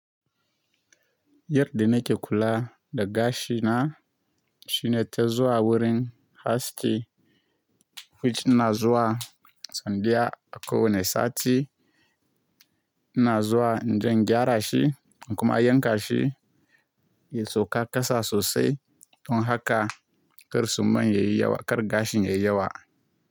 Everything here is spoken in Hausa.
Yadda nake kula da gashi na, shine ta zuwa wurin aski, which ina zuwa sau daya a ƙo wani sati, ina zuwa inje in gyara shi kuma a yanka shi, ya sauka ƙasa sosai don haka ƙarsu man ya yi yawa, ƙar gashin ya yi yawa.